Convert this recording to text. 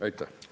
Aitäh!